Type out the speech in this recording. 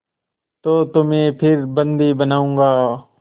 तो तुम्हें फिर बंदी बनाऊँगा